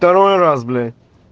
второй раз бля